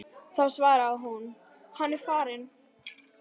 og þá svaraði hún: Hann er farinn.